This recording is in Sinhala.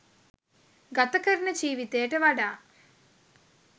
ගත කරන ජීවිතයට වඩා